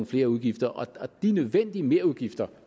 flere udgifter og de nødvendige merudgifter